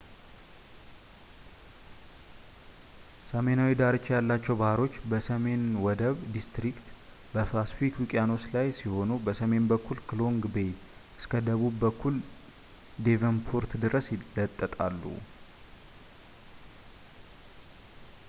ሰሜናዊ ዳርቻ ያላቸው ባህሮች በሰሜን ወደብ ዲስትሪክት በፓስፊክ ውቅያኖስ ላይ ሲሆኑ በሰሜን በኩል ከሎንግ ቤይ እስከ በደቡብ በኩል ደቨንፖርት ድረስ ይለጠጣሉ